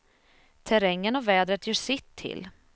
Terrängen och vädret gör sitt till.